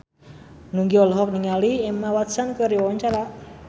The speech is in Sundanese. Nugie olohok ningali Emma Watson keur diwawancara